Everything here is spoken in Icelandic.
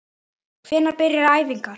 Hvenær byrja æfingar?